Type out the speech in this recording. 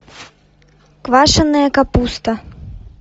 квашенная капуста